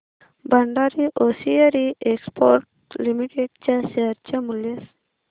Bhandari hosiery exports limited च्या share चे मूल्य